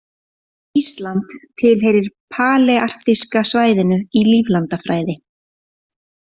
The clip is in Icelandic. Ísland tilheyrir palearktíska svæðinu í líflandafræði.